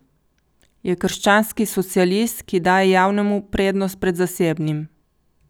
Je krščanski socialist, ki daje javnemu prednost pred zasebnim.